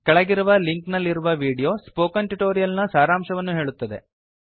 ಕೆಳಗಿರುವ ಲಿಂಕ್ ನಲ್ಲಿರುವ video spoken tutorial ನ ಸಾರಾಂಶವನ್ನು ಹೇಳುತ್ತದೆ